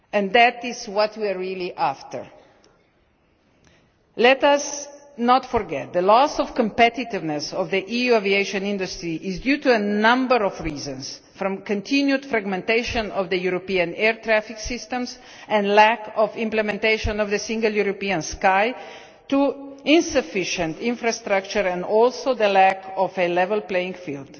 That is what we are really after. Let us not forget that the loss of competitiveness in the EU aviation industry is due to a number of reasons, from the continued fragmentation of the European air traffic systems and lack of implementation of the Single European Sky to insufficient infrastructure, and also the lack of a level playing field.